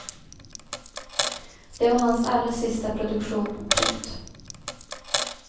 Det var hans allra sista produktion. punkt